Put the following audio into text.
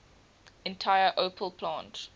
entire opel plant